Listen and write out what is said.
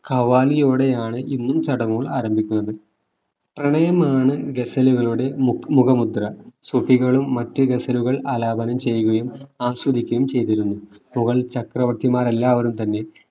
ഖവാലിയോടെയാണ് ഇന്നും ചടങ്ങുകൾ ആരംഭിക്കുന്നത് പ്രണയമാണ് ഗസലുകളുടെ മുഖ മുദ്ര ശ്രുതികളും മറ്റു ഗസലുകൾ ആലാപനം ചെയ്യുകയും ആസ്വദിക്കുകയും ചെയ്തിരുന്നു മുഗൾ ചക്രവർത്തിമാർ എല്ലാവരും തന്നെ